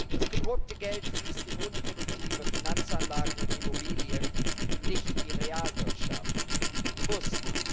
Das gedruckte Geld fließt in unproduktive Finanzanlagen und Immobilien, nicht in die Realwirtschaft bewusst.